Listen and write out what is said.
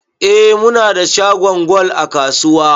Eh, munada shagon gwal a kasuwa